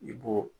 I b'o